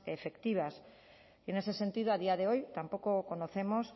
efectivas y en ese sentido a día de hoy tampoco conocemos